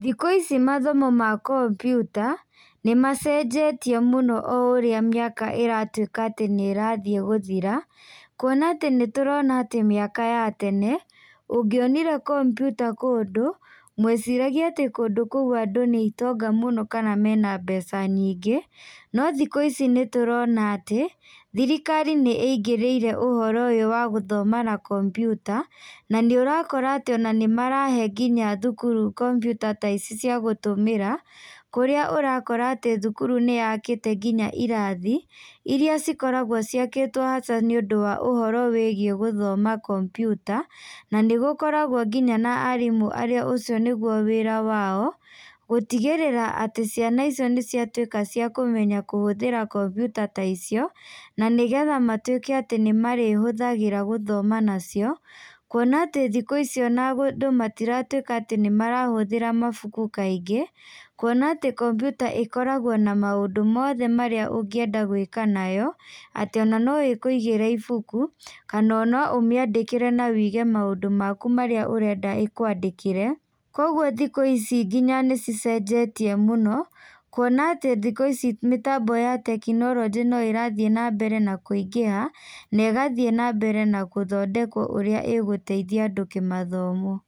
Thikũ ici mathomo ma kompiuta, nĩmacenjetie mũno o ũrĩa mĩaka ĩratuĩka atĩ nĩrathiĩ gũthira, kuona atĩ nĩtũrona atĩ mĩaka ya tene, ũngionire kompiuta kũndũ, mweciragia atĩ kũndũ kũu andũ nĩ itonga mũno kana mena mbeca nyingĩ, no thikũ ici nĩtũrona atĩ, thirikari nĩ ingĩrĩire ũhoro ũyũ wa gũthoma na kompiuta, na nĩũrakora atĩ ona nĩmarahe nginya thukuru kompiuta ta ici cia gũtũmĩra, kũrĩa ũrakora atĩ thukuru nĩyakĩte nginya irathi, irĩa cikoragwo ciakĩtwo nja nĩũndũ wa ũhoro wĩgiĩ gũthoma kompiuta, na nĩgũkoragwo nginya na arimũ arĩa ũcio nĩguo wĩra wao, gũtigĩrĩra atĩ ciana icio nĩciatuĩka cia kũmenya kũhũthĩra kompiuta ta icio, na nĩgetha matuĩke atĩ nĩmarĩhũthagĩra gũthoma nacio, kuona atĩ thikũ ici ona andũ matiratuĩka atĩ nĩmarahũthĩra mabuku kaingĩ, kuona atĩ kompiuta ĩkoragwo na maũndũ mothe marĩa ũngĩenda gwĩka nayo, atĩ ona no ĩkũigĩre ibũkũ, kana no ũmĩandĩkĩre na wĩige maũndũ maku marĩa ũrenda ĩkwandĩkĩre, koguo thikũ ici nginya nĩcicenjetie mũno, kuona atĩ thikũ ici mĩtambo ya tekinoronjĩ no ĩrathiĩ na mbere na kũingĩha, na ĩgathiĩ na mbere na gũthondekwo ũrĩa ĩgũteithia andũ kĩmathomo.